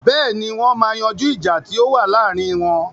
Bẹ́ẹ̀ni, wọ́n ma yanjú ìjà tí ó wà láàrin wọn.